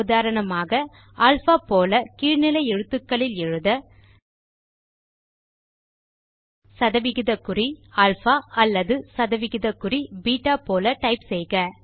உதாரணமாக அல்பா போல கீழ் நிலை எழுத்துக்களில் எழுத160alpha அல்லது160beta போல டைப் செய்க